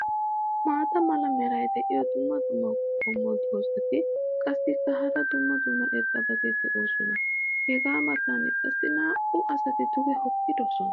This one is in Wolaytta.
maata mala meray diyo dumma dumma qommo dozzati qassikka hara dumma dumma irxxabati doosona. hegaa matan qassi naa'u asati duge hookkidosona.